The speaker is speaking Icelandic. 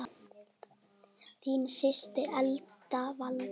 Þín systir, Elsa Valdís.